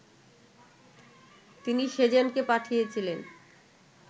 তিনি সেজানকে পাঠিয়েছিলেন